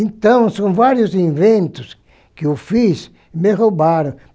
Então, são vários inventos que eu fiz e me roubaram.